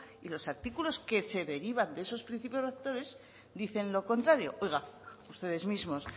y los artículos que se derivan de esos principios rectores dicen lo contrario oiga ustedes mismos